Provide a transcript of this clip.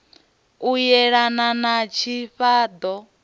u yelana na tshifha ṱo